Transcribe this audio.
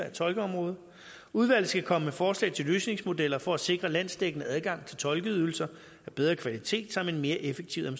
af tolkeområdet udvalget skal komme med forslag til løsningsmodeller for at sikre landsdækkende adgang til tolkeydelser af bedre kvalitet samt en mere effektiv